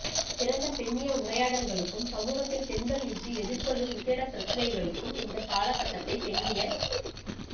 திறந்த பெண்ணிய உரையாடல்களுக்கும் சமூகத்தில் பெண்கள் இன்று எதிர்கொள்ளும் விசேட பிரச்சனைகளுக்கும் இந்தக் காலகட்டத்தைப் பெண்ணியச்